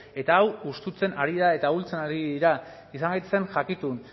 eta hau hustifikatzen ari da eta ahultzen ari dira izan gaitezen jakitun